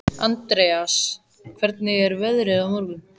Andreas, hvernig er veðrið á morgun?